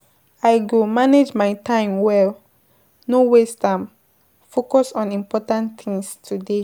I go manage my time well, no waste am, focus on important things today.